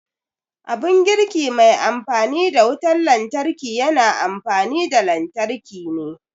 Abun girki mai amfani da wutar lantarki yana amfani da lantarki ne